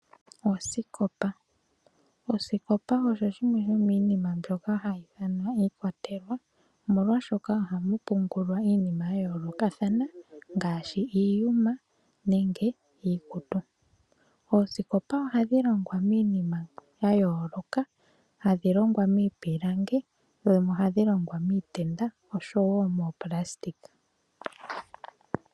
Oosikopa , osikopa osho shimwe shominima mbyoka hayi thanwa iikwatelwa, omolwa shoka ohamu pungulwa iinima ya yoloka thana ngashi iiyuma nenge iikutu. Oosikopa ohadhi longwa minima yayoloka hadhi longwa mipilangi dhimwe ohadhi longwa mitenda oshowo mopulasitika.